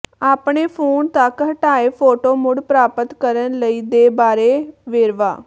ਆਪਣੇ ਫੋਨ ਤੱਕ ਹਟਾਏ ਫੋਟੋ ਮੁੜ ਪ੍ਰਾਪਤ ਕਰਨ ਲਈ ਦੇ ਬਾਰੇ ਵੇਰਵਾ